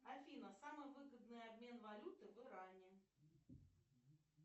афина самый выгодный обмен валюты в иране